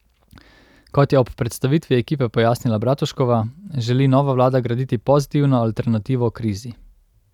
Kot je ob predstavitvi ekipe pojasnila Bratuškova, želi nova vlada graditi pozitivno alternativo krizi.